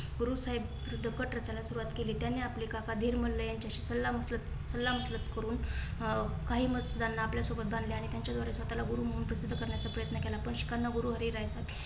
गुरु साहेब विरुद्ध कट रचण्यास सुरवात केली. त्यांनी आपले काका धीरमल्ला यांच्याशी सल्ला मसलत सल्ला मसलत करून अं काही मतदारांना आपल्यासोबत बांधले त्यांच्या द्वारे स्वतःला गुरु म्हणून प्रसिद्ध करण्याचा प्रयत्न केला. पण शिखांना गुरु हरीराय